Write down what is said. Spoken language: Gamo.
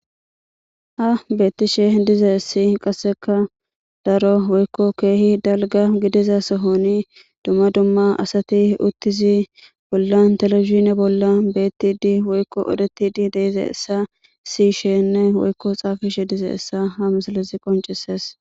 Ha beettishe dize ssi qasseka daro woykko keehi dalga gidiza sohoni dumma dumma asati uttizi bollan telefizine bolla beettidi woykko udetidi deeze essa si sheenne woykko xaafishe dize essa ha misalezi qoncises